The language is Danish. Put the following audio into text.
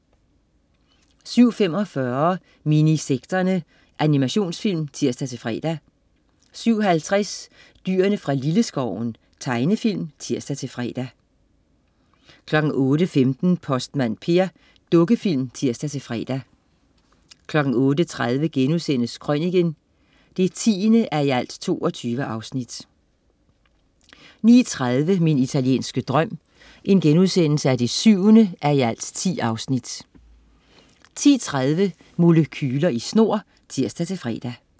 07.45 Minisekterne. Animationsfilm (tirs-fre) 07.50 Dyrene fra Lilleskoven. Tegnefilm (tirs-fre) 08.15 Postmand Per. Dukkefilm (tirs-fre) 08.30 Krøniken 10:22* 09.30 Min italienske drøm 7:10* 10.30 Molekyler i snor (tirs-fre)